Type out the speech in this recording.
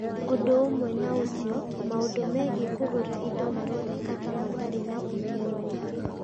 Ũndũ ũmwe na ũcio, maũndũ megiĩ kũgũra indo maroneka ta matarĩ na ũmenyo mũingĩ.